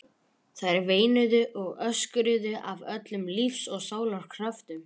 Þær veinuðu og öskruðu af öllum lífs og sálar kröftum.